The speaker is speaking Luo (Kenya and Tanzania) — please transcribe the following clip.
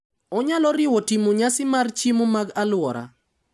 Onyalo riwo timo nyasi mar chiemo mag alwora.